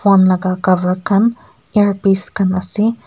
phone laka cover khan earpiece khan ase.